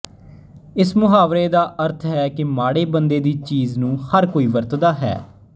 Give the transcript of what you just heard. ਇਸ ਮੁਹਾਵਰੇ ਦਾ ਅਰਥ ਹੈ ਕਿ ਮਾੜੇ ਬੰਦੇ ਦੀ ਚੀਜ਼ ਨੂੰ ਹਰ ਕੋਈ ਵਰਤਦਾ ਹੈ